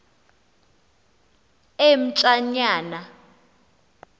emtshanyana